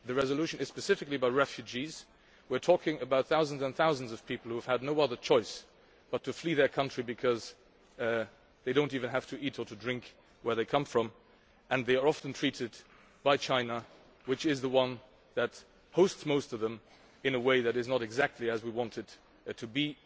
The resolution is specifically about refugees. We are talking about thousands and thousands of people who have had no other choice but to flee their country because they do not even have anything to eat or to drink where they come from and they are often treated by China, which is the country that hosts most of them, in a way that is not exactly as we would want it to be.